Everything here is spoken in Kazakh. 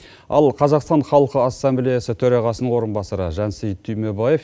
ал қазақстан халқы ассамблеясы төрағасының орынбасары жансейіт түймебаев